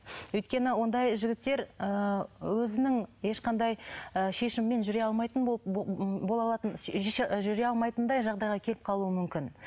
өйткені ондай жігіттер ы өзінің ешқандай ы шешімімен жүре алмайтын бола алатын жүре алмайтындай жағдайға келіп қалуы мүмкін